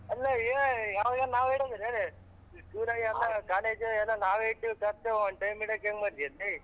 ಅಲ್ಲಾ ಹೇಳ್ ಯಾವಾಗನ್ನ ನಾವೇ ಇಡ್ಬೇಕ್ ಯೇನ್ ಇಷ್ಟ್ ದಿನ ಎಲ್ಲ college ಎಲ್ಲ ನಾವೇ ಇಟ್ಟೀವ್ ಖರ್ಚು one time ಇಡಕ್ ಹೆಂಗ್ ಮಾಡ್ತಿಯಲಾ ಲೇ.